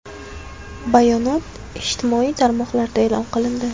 Bayonot ijtimoiy tarmoqlarda e’lon qilindi .